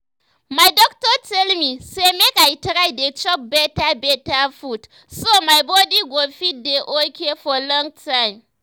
my doctor tell me say make i try dey chop better better food so my body go fit dey okay for long time